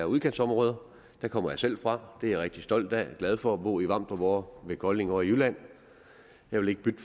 udkantsområder der kommer jeg selv fra og det er jeg rigtig stolt af jeg er glad for at bo i vamdrup ved kolding ovre i jylland jeg vil ikke bytte